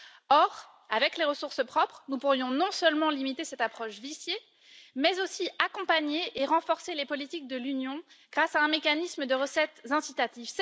Or, avec les ressources propres, nous pourrions non seulement limiter cette stratégie viciée mais aussi accompagner et renforcer les politiques de l'Union grâce à un mécanisme de recettes incitatif.